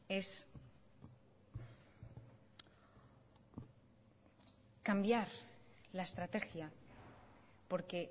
es cambiar la estrategia porque